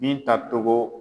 Binta Togo